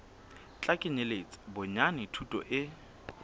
tla kenyeletsa bonyane thuto e